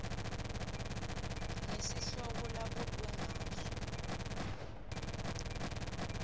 ngesihloko labutwe ngaso